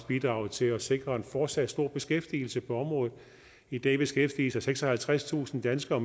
bidrage til at sikre en fortsat stor beskæftigelse på området i dag beskæftiger seksoghalvtredstusind danskere